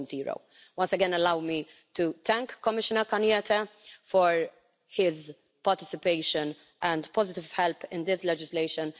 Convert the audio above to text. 4.0. Once again allow me to thank Commissioner Arias Cañete for his participation and positive help in this legislation.